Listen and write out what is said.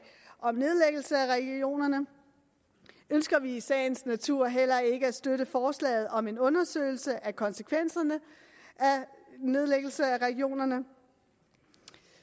om nedlæggelse af regionerne ønsker vi i sagens natur heller ikke at støtte forslaget om en undersøgelse af konsekvenserne af nedlæggelse af regionerne